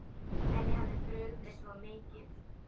Henni hafði brugðið svo mikið.